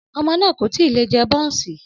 Ọmọ náà kò tí ì lè jẹ bọ́ọ̀ǹsì